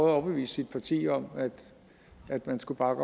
at overbevise sit parti om at man skulle bakke